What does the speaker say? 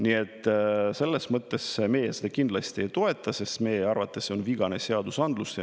Nii et selles mõttes me seda kindlasti ei toeta, sest meie arvates see on vigane seadusandlus.